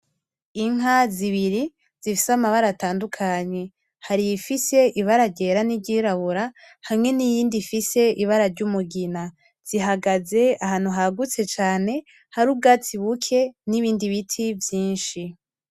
Inka zibiri zifise amabara atandukanye. Hari iyifise ibara ryera n'iryirabura hamwe n'iyindi ifise ibara ry'umugina, zihagaze ahantu hagutse cane hari ubwatsi buke n'ibindi biti vyinshi.